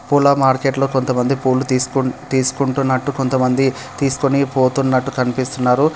పూల మార్కెట్లో కొంతమంది పూలు తిస్కు తీస్కో తీసుకుంటున్నట్టు కొంతమంది తీసుకొని పోతున్నట్టు కనిపిస్తున్నారు.